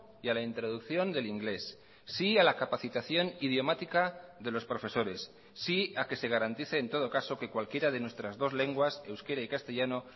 y a la introducción del inglés sí a la capacitación idiomática de los profesores sí a que se garantice en todo caso que cualquiera de nuestras dos lenguas euskera y castellano